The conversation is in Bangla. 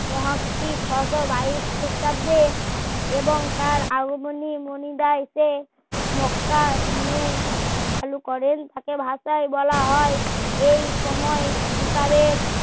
ছ সো বাইশ খ্রিস্টাব্দে এবং তার আগমনী মণিদা এসে মক্কা নিয়ে চালু করেন তাকে ভাষায় বলা হয় এই সময় হুকাবের